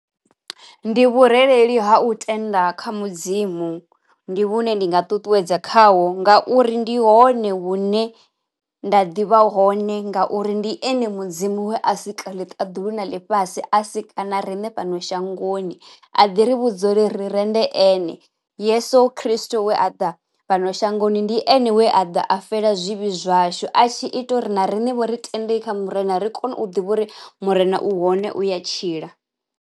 Ndi vhurereli ha u tenda kha Mudzimu ndi vhune ndi nga ṱuṱuwedza khaho, ngauri ndi hone hune nda ḓivha hone ngauri ndi ene Mudzimu we a si ka ḽi ṱaḓulu na ḽifhasi a si ka na riṋe fhano shangoni. A ḓi ri vhudza uri ri rende ene Yeso Khristo we a ḓa fhano shangoni ndi ene we a ḓa a fela zwivhi zwashu a tshi ita uri na riṋe vho ri tende kha Murena ri kone u ḓivha uri Murena u hone u a tshila.